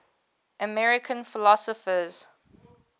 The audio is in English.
american philosophers